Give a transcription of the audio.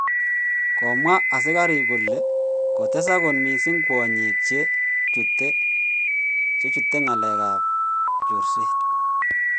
Komwa asigarik kole kotesak kot missing kwonyik che chute ngalek ap chorset.